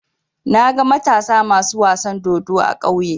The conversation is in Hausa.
Naga Matasa masu wasan dodo a ƙauye.